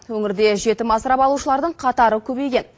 өңірде жетім асырап алушылардың қатары көбейген